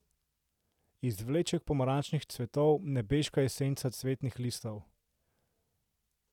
Izvleček pomarančnih cvetov, nebeška esenca cvetnih listov.